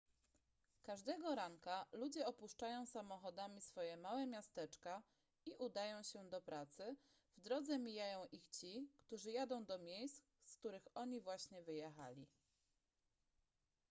każdego ranka ludzie opuszczają samochodami swoje małe miasteczka i udają się do pracy w drodze mijają ich ci którzy jadą do miejsc z których oni właśnie wyjechali